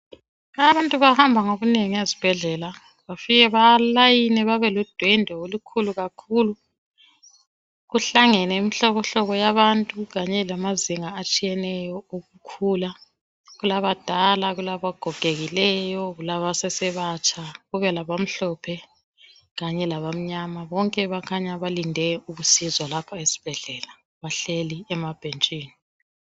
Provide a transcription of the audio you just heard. Abantu bahamba ngobunengi ezibhedlela befike belayine bebe ludwende olukhulu kakhulu kuhlangene imihlobo hlobo yabantu kanye lamazinga atshiyeneyo ukukhula kulabadala kulabagogekileyo kulabasesebatsha kube labamhlopho kanye labamnyama bonke kukhanya balinde ukusizwa lapha esibhedlela bahleli emabhetshini